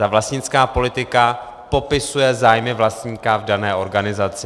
Ta vlastnická politika popisuje zájmy vlastníka v dané organizaci.